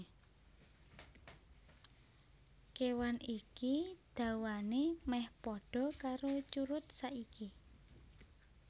Kéwan iki dawané mèh padha karo curut saiki